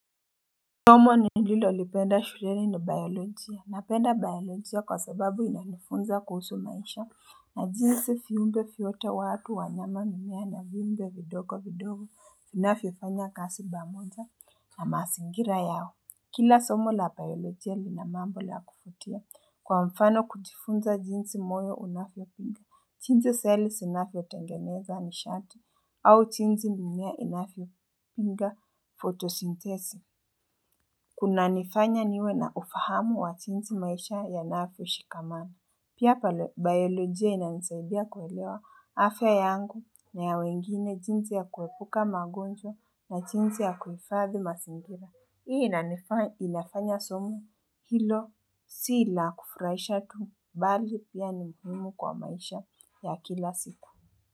Somo ni nililolipenda shulene ni bayolojia. Na penda bayolojia kwa sababu ina nifunza kuhusu maisha. Na jinzi viumbe vyote watu wanyama mimea na vimbe vidogo vidogo inafifanya kasi bamoza na masingira yao. Kila somo la bayolojia linamambo la kufutia kwa mfano kutifunza jinzi moyo unafi ya pinga. Chinzi selye sinafi ya tengeneza ni shati au chinzi ni mimea inafi ya pinga fotosyntesi. Kuna nifanya niwe na ufahamu wa chinti maisha ya naafu shikamana Pia pa biolojia ina nisaidia kuwelewa afya yangu na ya wengine chinti ya kuwepuka magonjwa na chinti ya kufadhi mazingira Hii ina nifanya ilafanya somo hilo si ila kufurahisha tu mbali pia ni mhimu kwa maisha ya kila sita.